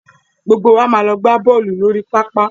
Gbogbo wa máa lọ gbá bọ́ọ̀lù lórí pápá.